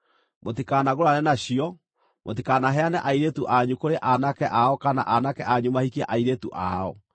Mũtikanagũrane nacio. Mũtikanaheane airĩtu anyu kũrĩ aanake ao kana aanake anyu mahikie airĩtu ao,